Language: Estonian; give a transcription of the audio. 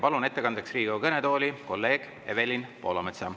Palun ettekandeks Riigikogu kõnetooli kolleeg Evelin Poolametsa.